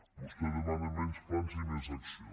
vostè demana menys plans i més acció